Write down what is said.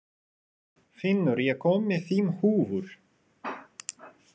Finnur, ég kom með fimm húfur!